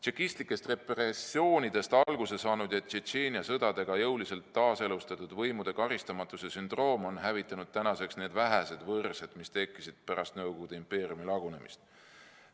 Tšekistlikest repressioonidest alguse saanud ja Tšetšeenia sõdadega jõuliselt taaselustatud võimude karistamatuse sündroom on hävitanud tänaseks need vähesedki võrsed, mis tekkisid pärast Nõukogude impeeriumi lagunemist.